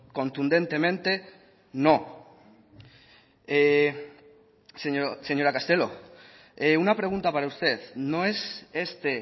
contundentemente no señora castelo una pregunta para usted no es este